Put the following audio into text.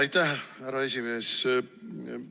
Aitäh, härra esimees!